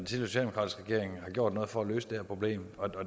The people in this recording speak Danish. socialdemokratiske regering har gjort noget for at løse det her problem